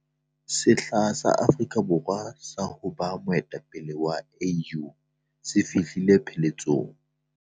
Sehla sa Afrika Borwa sa ho ba moetapele wa AU se fihlile pheletsong.